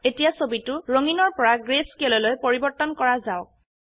এতিয়া ছবিটো ৰঙিনৰ পৰা greyscaleলৈ পৰিবৰ্তন কৰা যাওক